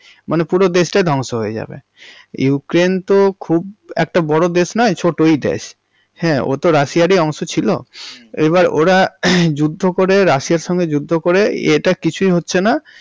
মানে পুরো দেশটাই ধ্বংস হয়ে যাবে। ইউক্রেইন্ তো খুব একটা বড় দেশ নয় ছোটোই দেশ, হ্যা ওতো রাশিয়ার ই অংশ ছিল, হুম এবার ওরা যুদ্ধ করে রাশিয়ার সাথে যুদ্ধ করে এটা কিচ্ছুই হচ্ছে না।